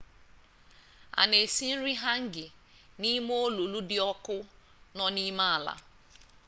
a na-esi nri hangi n'ime olulu dị ọkụ nọ n'ime ala